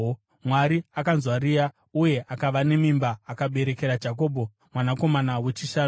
Mwari akanzwa Rea, uye akava nemimba akaberekera Jakobho mwanakomana wechishanu.